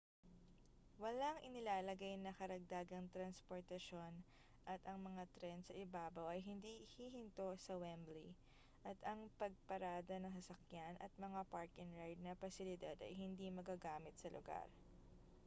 walang inilalagay na karagdagang transportasyon at ang mga tren sa ibabaw ay hindi hihinto sa wembley at ang pagparada ng sasakyan at mga park-and-ride na pasilidad ay hindi magagamit sa lugar